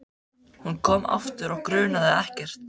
Hún kom aftur og grunaði ekkert.